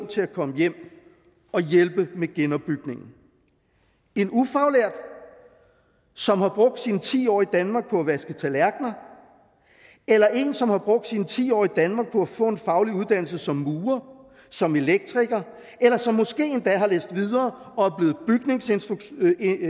til at komme hjem og hjælpe med genopbygningen en ufaglært som har brugt sine ti år i danmark på at vaske tallerkener eller en som har brugt sine ti år i danmark på at få en faglig uddannelse som murer som elektriker eller som måske endda har læst videre og er blevet bygningskonstruktør